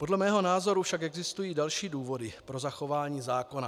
Podle mého názoru však existují další důvody pro zachování zákona.